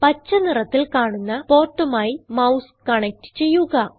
പച്ച നിറത്തിൽ കാണുന്ന portമായി മൌസ് കണക്റ്റ് ചെയ്യുക